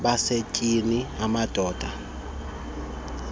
abasetyhini amadoda umlisela